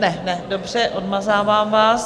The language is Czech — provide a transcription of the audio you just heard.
Ne, ne, dobře, odmazávám vás.